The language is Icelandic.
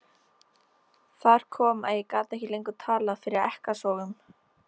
Þar kom að ég gat ekki lengur talað fyrir ekkasogum.